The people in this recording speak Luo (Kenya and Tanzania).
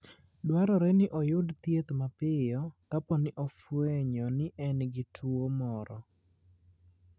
Dwarore ni oyud thieth mapiyo kapo ni ofwenyo ni en gi tuwo moro.